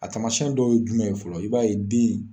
A tamasiɛn dɔw ye jumɛn ye fɔlɔ i b'a ye den.